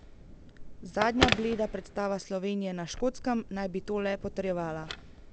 Zadnja bleda predstava Slovenije na Škotskem naj bi to le potrjevala.